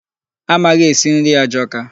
Amaghị esi nri ajọka